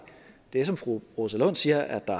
det som fru rosa lund siger er at der